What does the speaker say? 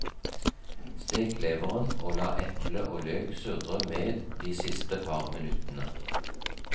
Stek leveren og la eple og løk surre med de siste par minuttene.